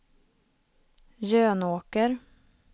Jönåker